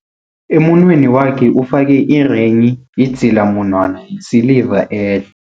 Emunweni wakhe ufake irenghi, idzilamunwana yesiliva ehle.